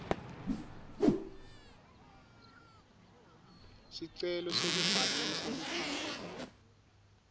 sicelo sekubhalisa luphawu